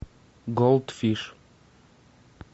голд фиш